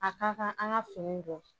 A ka kan an ka finiw bɔ.